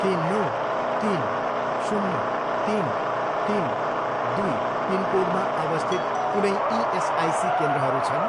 के नौ, तिन, शून्य, तिन, तिन, दुई पिनकोडमा अवस्थित कुनै इएसआइसी केन्द्रहरू छन्?